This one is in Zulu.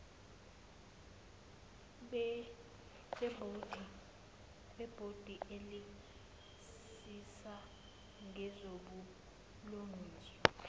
bebhodi elisisa ngezobulungiswa